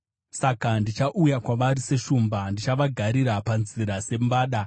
Saka ndichauya kwavari seshumba, ndichavagarira panzira sembada,